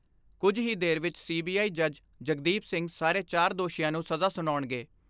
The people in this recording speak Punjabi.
ਕੁਝ ਹੀ ਦੇਰ ਵਿਚ ਸੀ ਬੀ ਆਈ ਜੱਜ ਜਗਦੀਪ ਸਿੰਘ ਸਾਰੇ ਚਾਰ ਦੋਸ਼ੀਆਂ ਨੂੰ ਸਜ਼ਾ ਸੁਣਾਉਣਗੇ।